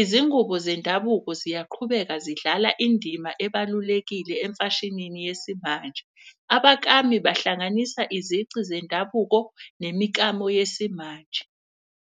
izingubo zendabuko ziyaqhubeka zidlala indima ebalulekile emfashinini yesimanje. Abakami bahlanganisa izici zendabuko nemikamo yesimanje.